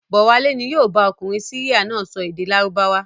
Bọ̀wálé ni yóò bá ọkùnrin Syria náà sọ èdè Lárúbáwá.